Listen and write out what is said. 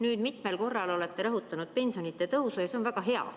Nüüd, mitmel korral olete rõhutanud pensionide tõusu ja see on väga hea.